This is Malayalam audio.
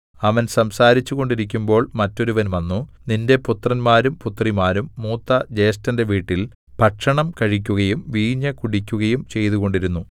അവൻ സംസാരിച്ചു കൊണ്ടിരിക്കുമ്പോൾ മറ്റൊരുവൻ വന്നു നിന്റെ പുത്രന്മാരും പുത്രിമാരും മൂത്ത ജ്യേഷ്ഠന്റെ വീട്ടിൽ ഭക്ഷണം കഴിക്കുകയും വീഞ്ഞു കുടിക്കുകയും ചെയ്തുകൊണ്ടിരുന്നു